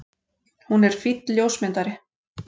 Hún er fínn ljósmyndari.